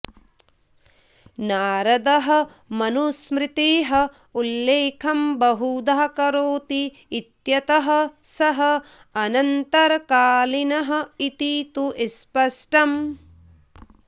नारदः मनुस्मृतेः उल्लेखं बहुधा करोति इत्यतः सः अनन्तरकालीनः इति तु स्पष्टम्